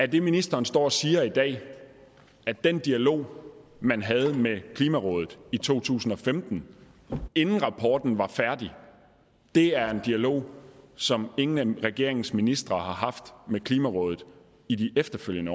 det ministeren står og siger i dag at den dialog man havde med klimarådet i to tusind og femten inden rapporten var færdig er en dialog som ingen af regeringens ministre har haft med klimarådet i de efterfølgende